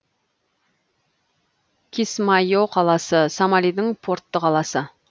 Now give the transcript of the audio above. кисмайо қаласы сомалидің портты қаласы